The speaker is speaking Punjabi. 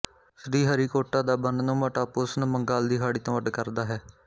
ਸ੍ਰੀਹਰੀਕੋਟਾ ਦਾ ਬੰਨ੍ਹਨੁਮਾ ਟਾਪੂ ਇਹਨੂੰ ਬੰਗਾਲ ਦੀ ਖਾੜੀ ਤੋਂ ਅੱਡ ਕਰਦਾ ਹੈ